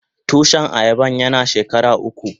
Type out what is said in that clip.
Tushin ayaban yana shekara uku.